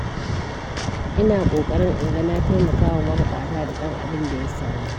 Ina ƙoƙarin in ga na taimakawa mabuƙata, da ɗan abinda ya samu.